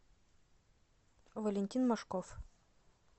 валентин мошков